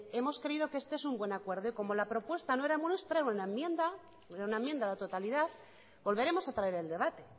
hemos creído que este es un acuerdo y como la propuesta no era nuestra era una enmienda a la totalidad volveremos a traer el debate